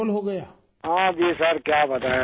راجیش پرجاپتی ہاں جی سر کیا بتائیں اب